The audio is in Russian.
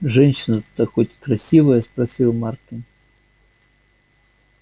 женщина-то хоть красивая спросил маркин